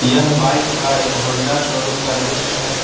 यह बाइक का एक होंडा शोरूम का दृश्य है।